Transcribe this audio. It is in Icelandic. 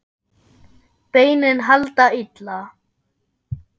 Beinin halda illa.